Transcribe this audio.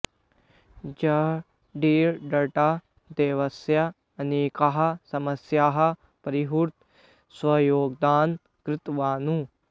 जहङ्गीर टाटा देशस्य अनेकाः समस्याः परिहर्तुं स्वयोगदानं कृतवान्